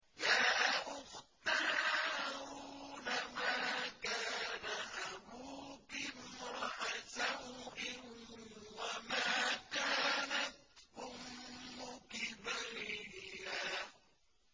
يَا أُخْتَ هَارُونَ مَا كَانَ أَبُوكِ امْرَأَ سَوْءٍ وَمَا كَانَتْ أُمُّكِ بَغِيًّا